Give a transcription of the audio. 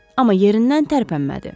Amma yerindən tərpənmədi.